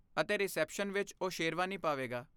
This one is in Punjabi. ਅਤੇ ਰਿਸੈਪਸ਼ਨ ਵਿੱਚ ਉਹ ਸ਼ੇਰਵਾਨੀ ਪਾਵੇਗਾ।